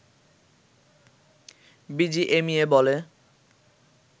BGMEA বলে